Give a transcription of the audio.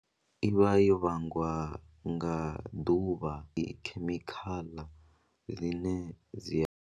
I vha yo vhangwa nga ḓuvha i khemikhala dzine dzi a.